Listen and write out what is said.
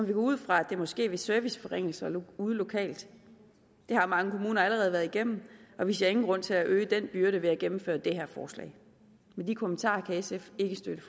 vi gå ud fra at det må ske ved serviceforringelser ude lokalt det har mange kommuner allerede været igennem og vi ser ingen grund til at øge den byrde ved at gennemføre det her forslag med de kommentarer kan sf ikke støtte